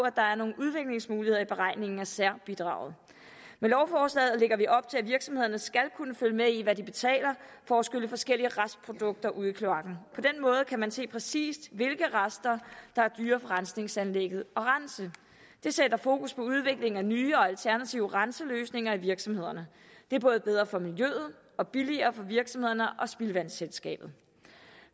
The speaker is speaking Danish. at der er nogle udviklingsmuligheder i beregningen af særbidraget med lovforslaget lægger vi op til at virksomhederne skal kunne følge med i hvad de betaler for at skylle forskellige restprodukter ud i kloakken på den måde kan man se præcis hvilke rester der er dyrere for rensningsanlægget at rense det sætter fokus på udvikling af nye og alternative renseløsninger i virksomhederne det er både bedre for miljøet og billigere for virksomhederne og spildevandsselskabet